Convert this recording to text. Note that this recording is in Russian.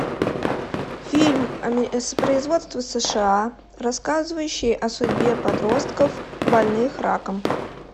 фильм производства сша рассказывающий о судьбе подростков больных раком